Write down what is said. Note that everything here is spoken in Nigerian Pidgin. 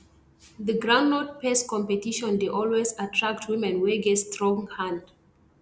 the groundnut paste competition dey always attract women wey get strong hand